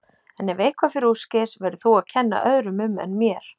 En ef eitthvað fer úrskeiðis verður þú að kenna öðrum um en mér.